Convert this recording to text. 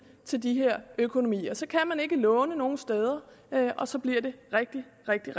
til de her økonomier så kan man ikke låne nogen steder og så bliver det rigtig rigtig